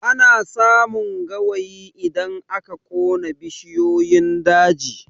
Ana samun gawayi idan aka ƙona bishiyun daji